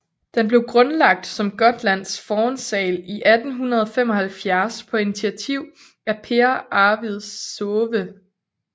Den blev grundlagt som Gotlands Fornsal i 1875 på initiativ af Pehr Arvid Säve